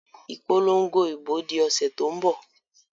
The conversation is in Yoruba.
Ìpolongo ìbò di ọ̀sẹ̀ tó ń bọ̀